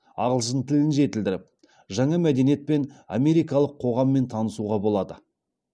ағылшын тілін жетілдіріп жаңа мәдениет пен америкалық қоғаммен танысуға болады